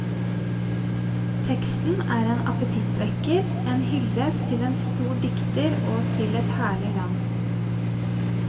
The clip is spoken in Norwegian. Teksten er en apetittvekker, en hyllest til en stor dikter og til et herlig land.